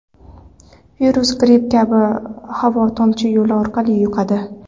Virus gripp kabi havo-tomchi yo‘li orqali yuqadi.